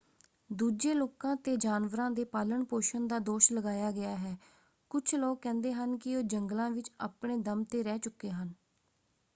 ਦੂਜੇ ਲੋਕਾਂ 'ਤੇ ਜਾਨਵਰਾਂ ਦੇ ਪਾਲਣ-ਪੋਸ਼ਣ ਦਾ ਦੋਸ਼ ਲਗਾਇਆ ਗਿਆ ਹੈ; ਕੁੱਝ ਲੋਕ ਕਹਿੰਦੇ ਹਨ ਕਿ ਉਹ ਜੰਗਲਾਂ ਵਿੱਚ ਆਪਣੇ ਦਮ 'ਤੇ ਰਹਿ ਚੁੱਕੇ ਹਨ।